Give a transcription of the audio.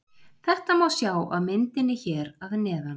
Þetta má sjá á myndinni hér að neðan.